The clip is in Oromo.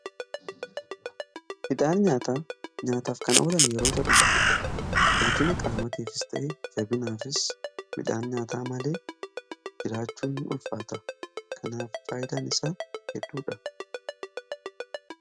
Midhaan nyaataa nyaataaf kan oolan yeroo ta'u, guddina qaamatiifis ta'ee jabinaafis midhaan nyaataa malee jiraachuun ulfaata. Kanaaf faayidaan isa hedduudha.